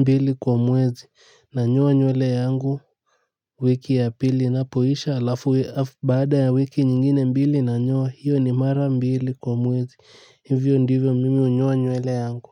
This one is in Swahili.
mbili kwa mwezi nanyoa nywele yangu wiki ya pili inapoisha alafu baada ya wiki nyingine mbili nanyoa hiyo ni mara mbili kwa mwezi hivyo ndivyo mimi unyoa nywele yangu.